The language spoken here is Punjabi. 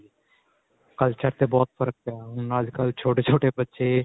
culture ਤੇ ਬਹੁਤ ਜਿਆਦਾ ਫ਼ਰਕ ਪਿਆ ਹੁਣ ਅੱਜਕਲ੍ਹ ਛੋਟੇ-ਛੋਟੇ ਬੱਚੇ.